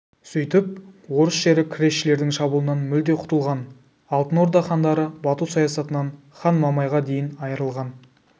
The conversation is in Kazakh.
сөйтіп орыс жері кресшілердің шабуылынан мүлде құтылған алтын орда хандары бату саясатынан хан мамайға дейін айырылған